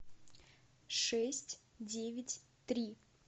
шесть девять три